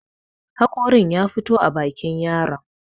haƙorin ya fito a bakin yaron